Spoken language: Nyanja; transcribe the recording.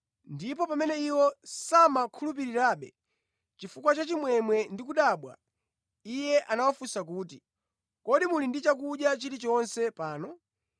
Ndipo pamene iwo samakhulupirirabe, chifukwa cha chimwemwe ndi kudabwa, Iye anawafunsa kuti, “Kodi muli ndi chakudya chilichonse pano?”